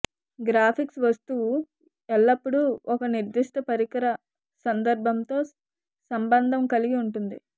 graphics వస్తువు ఎల్లప్పుడూ ఒక నిర్దిష్ట పరికర సందర్భంతో సంబంధం కలిగి ఉంటుంది